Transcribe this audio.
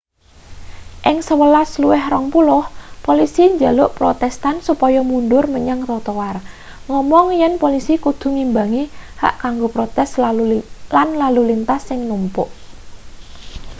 ing 11.20 polisi njaluk protestan supaya mundur menyang trotoar ngomong yen polisi kudu ngimbangi hak kanggo protes lan lalu lintas sing numpuk